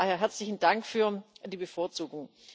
Von daher herzlichen Dank für die Bevorzugung.